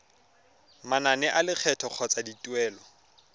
manane a lekgetho kgotsa dituelo